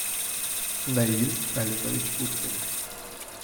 наиль алимович уткин